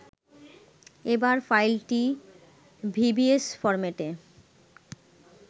এবার ফাইলটি vbs ফরম্যাটে